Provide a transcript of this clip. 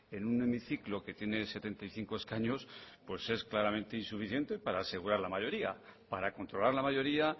en un hemiciclo que tiene setenta y cinco escaños pues es claramente insuficiente para asegurar la mayoría para controlar la mayoría